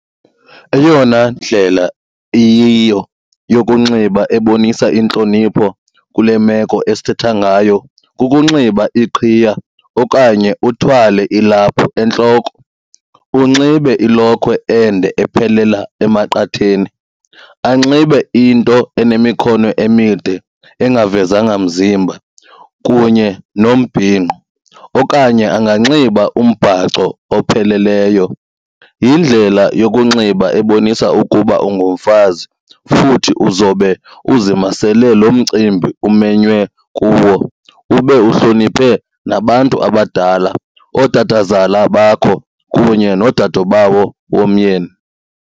Eyona ndlela iyiyo yokunxiba ebonisa intlonipho kule meko esithetha ngayo kukunxiba iqhiya okanye uthwale ilaphu entloko, unxibe ilokhwe ende ephelela emaqatheni, anxibe into enemikhono emide engavezanga mzimba kunye nombhinqo okanye anganxiba umbhaco opheleleyo. Yindlela yokunxiba ebonisa ukuba ungumfazi futhi uzobe uzimasele lo mcimbi umenywe kuwo ube uhloniphe nabantu abadala ootatazala bakho kunye noodadubawo bomyeni.